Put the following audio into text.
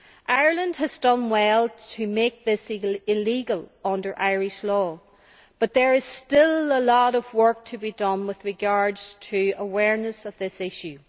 Ireland has done well to make this practice illegal under Irish law, but there is still a lot of work to be done with regards to awareness of this issue.